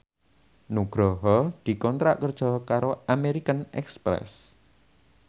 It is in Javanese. Nugroho dikontrak kerja karo American Express